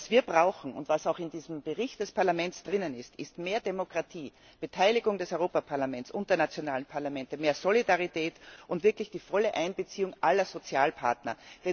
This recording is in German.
Was wir brauchen und was auch in diesem Bericht des Parlaments steht, ist mehr Demokratie, Beteiligung des Europäischen Parlaments und der nationalen Parlamente, mehr Solidarität und wirklich die volle Einbeziehung aller Sozialpartner.